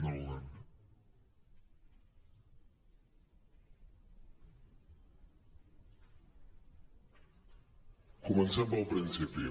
comencem pel principi